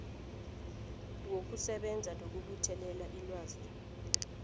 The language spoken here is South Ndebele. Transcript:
wokusebenza nokubuthelela ilwazi